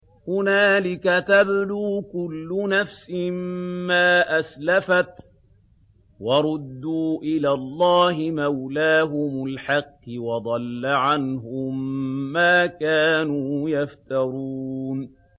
هُنَالِكَ تَبْلُو كُلُّ نَفْسٍ مَّا أَسْلَفَتْ ۚ وَرُدُّوا إِلَى اللَّهِ مَوْلَاهُمُ الْحَقِّ ۖ وَضَلَّ عَنْهُم مَّا كَانُوا يَفْتَرُونَ